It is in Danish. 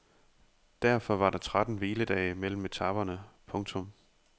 Derfor var der tretten hviledage mellem etaperne. punktum